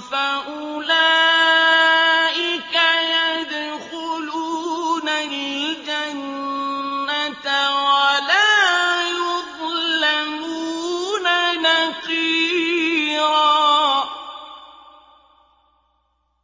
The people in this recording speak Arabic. فَأُولَٰئِكَ يَدْخُلُونَ الْجَنَّةَ وَلَا يُظْلَمُونَ نَقِيرًا